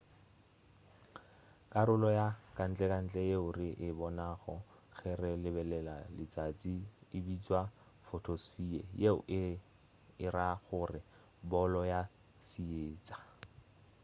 karolo ya kantlentle yeo re e bonago ge re lebelela letšatši e bitšwa photosphere yeo e e ra gore bolo ya seetša